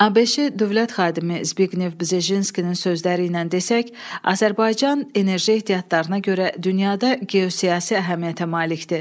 ABŞ dövlət xadimi Zbiqnev Bjezinskinin sözləri ilə desək, Azərbaycan enerji ehtiyatlarına görə dünyada geosiyasi əhəmiyyətə malikdir.